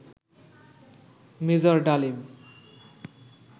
major Dalim